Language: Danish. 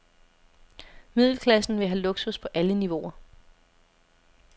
Middelklassen vil have luksus på alle niveauer.